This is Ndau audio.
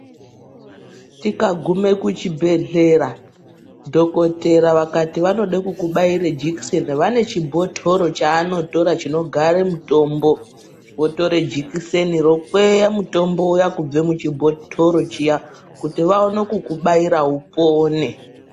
Tikagume kuchibhedhlera, dhokotera vakati vanode kukubhaire jekiseni ,vanechibhotoro chanotora chinogare mitombo, votore jekiseni rokweya mutombo uya kubve muchibhotoro chiya kuti vawone kukubhayira upone.